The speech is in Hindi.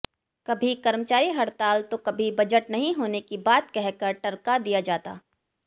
कभी कर्मचारी हड़ताल तो कभी बजट नहीं होने की बात कहकर टरका दिया जाता